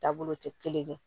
Taabolo tɛ kelen ye